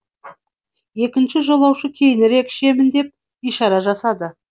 екінші жолаушы кейінірек ішемін деп ишара жасады